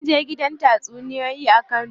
Munje gidan tatsuniyoyi a kano.